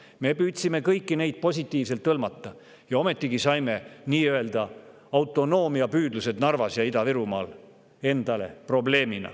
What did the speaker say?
Me püüdsime kõiki neid positiivselt hõlmata, aga ometigi saime endale Narvas ja Ida-Virumaal nii‑öelda autonoomiapüüdluse probleemid.